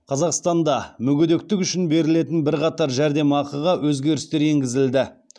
қазақстанда мүгедектік үшін берілетін бірқатар жәрдемақыға өзгерістер енгізілді